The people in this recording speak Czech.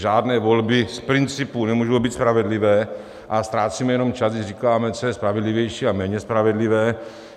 Žádné volby z principu nemůžou být spravedlivé a ztrácíme jenom čas, když říkáme, co je spravedlivější a méně spravedlivé.